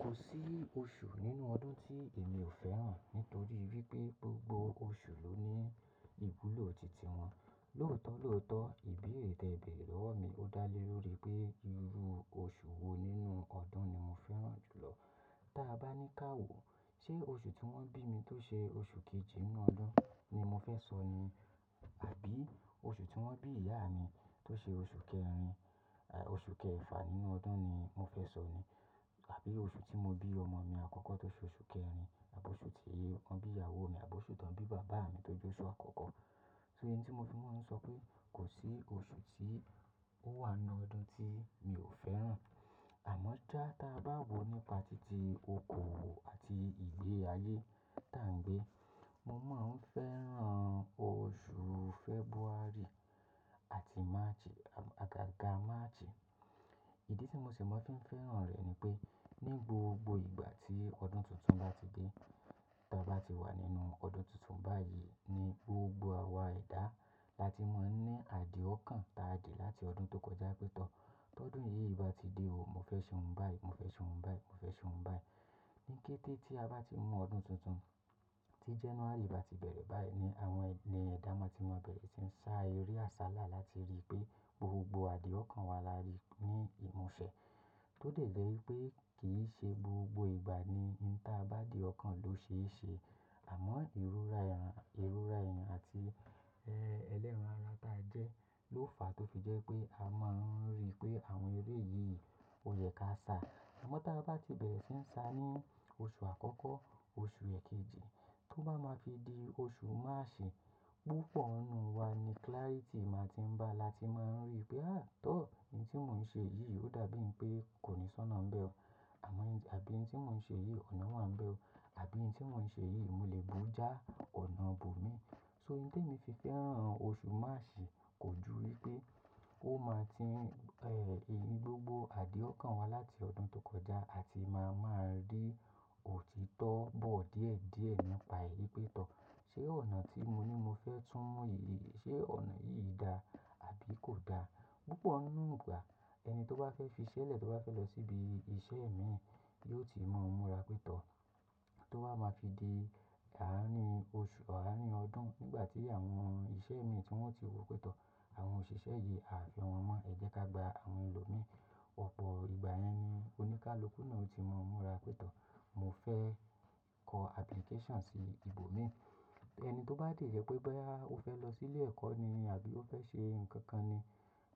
Kò sí oṣù nínú ọdún tí èmi ò fẹ́ràn nítorí wípé gbogbo oṣù ló ní ìwúlò titi wọn. Lótọ́lótọ́ ìbéèrè tẹ bẹ̀rẹ̀ lọ̀wọ́ mi ó dá lé lórí pé irú oṣù wo nínú ọdún ni mo fẹ́ràn jù lọ. Da bá ní ká wò, ṣe oṣù tí wón bí mi tó ṣe oṣù kejì nínú ọdún ni mo fẹ́ sọ ní? Àbí oṣù tí wón bí ìyá mi tó ṣe oṣù kẹrin, oṣù kẹfà nínú ọdún ni mo fẹ́ sọ ní? Àbí oṣù tí mo bí ọmọ mi àkọ́kọ́ tó ṣe oṣù kẹrin, àbí oṣù tí wọ́n bí ìyàwó mi, àbí oṣù tí wọ́n bí bàbá mi tó jẹ oṣù àkọ́kọ́? So, n t tí mo fi máa ń sọ pé kò sí oṣù tí ó wà nínú ọdún tí mi ò fẹ́ràn. Àmọ́ sá ta bá wò nípa titi okòwò àti ìgbé ayé tá ń gbé, mo máa ń fẹ́ràn oṣù February àti March, àgaga March. Ìdí tí mo sì máa ń fi ń fẹ́ràn rẹ̀ ni pé ní gbogbo ìgbà tí ọdún tuntun bá ti dé, ta bá ti wà nínú ọdún tuntun báyìí ni gbogbo àwa ẹ̀dá la ti máa ń ní àdìọ̀kan ta dì láti ọdún tó kọjá pé tọ̀. Tọ́ ọdún yìí bá ti dé o, mo fẹ́ ṣe ohun báyìí, mo fẹ́ ṣe ohun báyìí, mo fẹ́ ṣe ohun báyìí. Ni kété tí a bá ti mú ọdún tuntun, tí January bá ti bẹ̀rẹ̀ báyìí ni àwọn ẹni ẹ̀dá máa ti wọ́n bẹ̀rẹ̀ tí ń sa eré àsálà láti rí pé gbogbo àdìọ̀kan wa lari ní ìmúṣẹ. Tó dẹ̀ jẹ́ pé kì í ṣe gbogbo ìgbà ni ohun tí a bá dì ọ̀kan ló ṣe é ṣe. Àmọ́ ìrọra èèyàn, ìrọra èèyàn àti ẹlẹ́ran ara ta jẹ́ ló fàá tó fi jẹ́ pé a máa ń rí pé àwọn eré yìí ò yẹ ká ṣá. Àmọ́ tá bá ti bẹ̀rẹ̀ sí ń sa ní oṣù àkọ́kọ́, oṣù ẹ̀kejì tó bá máa fi di oṣù March, púpọ̀ nínú wa ni clarity máa ti ń bá la ti máa ń rí pé, àá tọ́ ohun tí mò ń ṣe yìí ó dàbí i pé kò ní sọ́nà ń bẹ́ ọ. Àmọ́ àbí ohun tí mò ń ṣe yìí ọ̀nà wà ń bẹ́ ọ, àbí ohun tí mò ń ṣe yìí mo lè bu ọ́ já ọ̀nà bò mi. So ìdí tí mo fi fẹ́ràn oṣù March kò ju wípé ó máa ti ń, ìrìn gbogbo àdìọ̀kan wa láti ọdún tó kọjá a ti máa, máa rí òtítọ́ bọ̀ díẹ̀díẹ̀ nípa èyí pé tọ̀. Ṣé ọ̀nà tí mo ní mo fẹ́ túnmu yìí, ṣe ọ̀nà yìí da àbí kò da? Púpọ̀ nínú ìgbà ẹni tó bá fẹ́ fi ṣẹlẹ̀, tó bá fẹ́ lọ síbi iṣẹ́ mìíràn yó ti mọ múra pé tọ̀. Tó wá máa fi di àárín oṣù, àárín ọdún nígbà tí àwọn iṣẹ́ mìíràn tí wọn ò tí wò pétọ̀, àwọn òṣìṣẹ́ yìí a fi wọn mọ́. Ẹ jẹ́ ká gba àwọn ẹlòmíràn. Ọ̀pọ̀ ìgbà yẹn ni oníkálukú náà ó ti mọ múra pé tọ̀. Mo fẹ́ kọ application sí ibo mi. Ẹni tó bá dẹ̀ jẹ pé boya o fẹ́ lọ sí ilé ẹ̀kọ́ ni àbí o fẹ́ ṣe nǹkan kan ni,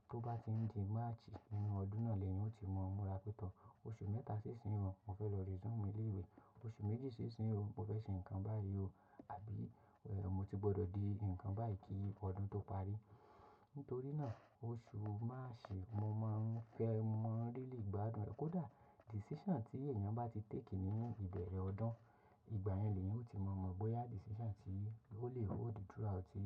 tó bá ti ń di March nínú ọdún náà lẹ́ni hun ó ti mọ múra pé tọ̀. Oṣù mẹ́ta sí ìsin òun, mo fẹ́ lọ resume ilé ìwé. Oṣù méjì sí ìsin òun, mo fẹ́ ṣe nǹkan báyìí ò àbí ẹ́, mo ti gbọdọ̀ di nǹkan báyìí kí ọdún tó parí. Nítorí ná8à oṣù March mo máa ń fẹ́, mo mọ ìdílé ìgbádùn rẹ̀. Kò dà decision tí èèyàn bá ti take nínú ìbẹ̀rẹ̀ ọdún, ìgbà yẹn lèyán ó ti mọ mọ bóyá decision tí ó lè hold throughout ti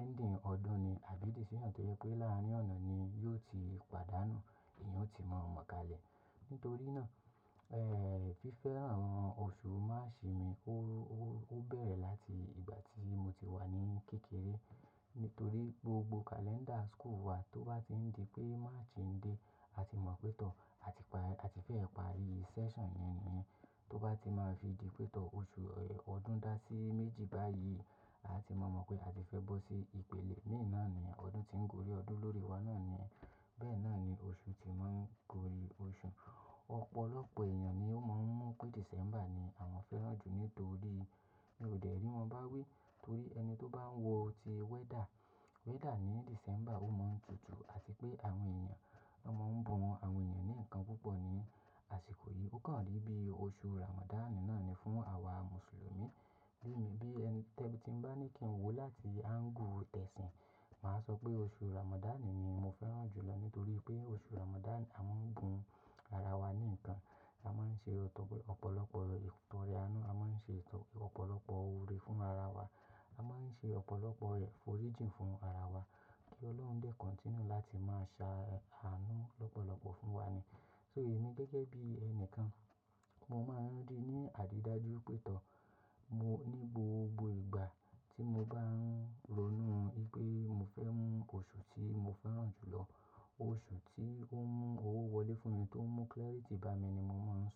ending ọdún ni àbí decision tó yẹ pé láàárín ọ̀nà ni yóò ti pàdánù. Eeyan o ti mọ ọ mọ kalẹ̀ nítorí náà, fifẹ́ràn oṣù March mi bẹ̀rẹ̀ láti ìgbà tí mo ti wà ní kékeré. Nítorí gbogbo calendar school wa tó bá ti ń di pé March ń dé, a ti mọ pé tọ̀, a ti pa, a ti fẹ́ parí session yẹn nìyẹn. Tó bá ti máa fi di pé tọ̀ oṣù, ọdún dá sí méjì báyìí, a ti maa mo pé a ti fẹ́ bọ́ sí ìpele mìíràn náà ni. Ọdún tí ń gorí ọdún lórí wa náà ni. Bẹ́ẹ̀ náà ni oṣù tí máa ń gorí oṣù. Ọ̀pọ̀lọpọ̀ èèyàn ni ó máa ń mọ̀ pé December ni àwọn fẹ́ràn jù nítorí mi ò dẹ̀ rí wọn bá wí. Torí ẹni tó bá ń wọ ọ ti weather, weather ní December ó máa ń tutù àti pé àwọn èèyàn, wọ́n máa ń bu àwọn èèyàn ní nǹkan púpọ̀ ni àsìkò yìí. Ó kàn rí bí oṣù Ramadan náà ni fún àwa Mùsùlùmí. Bí mi bí ẹni tẹ́, tí bá ní kí n wò láti angle tẹ̀sìn, màá sọ pé oṣù Ramadan ni mo fẹ́ràn jù lọ nítorí pé oṣù Ramadan a máa ń gun ara wa ní nǹkan. A máa ń ṣe ọ̀pọ̀lọpọ̀ ìtọrẹ àánú, a máa ń ṣe ọ̀pọ̀lọpọ̀ òore fún ara wa. A máa ń ṣe ọ̀pọ̀lọpọ̀ ìforíjì fún ara wa kí Ọlọ́run lè continue láti máa sa àánú lọ́pọ̀lọpọ̀ fún wa ni. So èmi gẹ́gẹ́ bí ẹnìkan mo máa ń rí ní àrídájú pé tọ̀. Mo ní gbogbo ìgbà tí mo bá ń ronú wipé mo fẹ́ mú oṣù tí mo fẹ́ràn jù lọ, oṣù tí ó mú owó wọlé fún mi, tó mú clarity bá mi ni mo máa ń sọ.